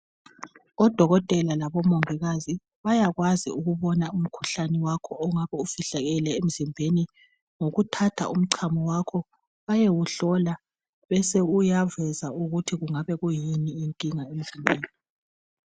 Odokotela labomongikazi bayakwazi ukubona umkhuhlane wakho ongabe ufihlakele emzimbeni. Ngokuthatha umchamo wakho. Bayewuhlola. Bese uyaveza ukuthi kungabe kuyini inkinga emzimbeni.